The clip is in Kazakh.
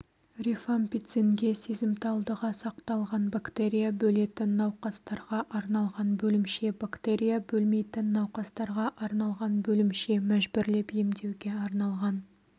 рифампицинге сезімталдығы сақталған бактерия бөлетін науқастарға арналған бөлімше бактерия бөлмейтін науқастарға арналған бөлімше мәжбүрлеп емдеуге арналған